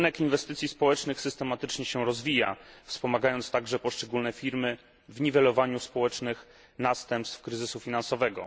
Rynek inwestycji społecznych systematycznie się rozwija, wspomagając także poszczególne firmy w niwelowaniu społecznych następstw kryzysu finansowego.